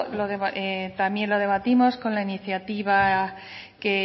también lo debatimos con la iniciativa